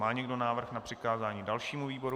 Má někdo návrh na přikázání dalšímu výboru?